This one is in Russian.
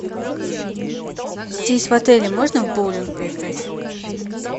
здесь в отеле можно в боулинг поиграть